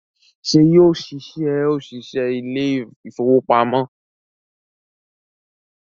Ṣé yóò ṣiṣẹ́ òṣìṣẹ́ ilé ìfowópamọ́?